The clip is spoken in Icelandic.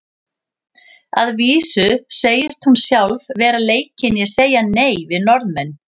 Að vísu segist hún sjálf vera leikin í að segja nei við Norðmenn.